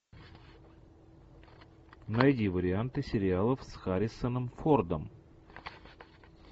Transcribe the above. найди варианты сериалов с харрисоном фордом